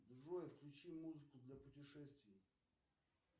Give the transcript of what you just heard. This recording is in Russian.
джой включи музыку для путешествий